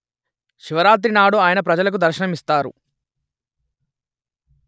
శివరాత్రి నాడు ఆయన ప్రజలకు దర్శనమిస్తారు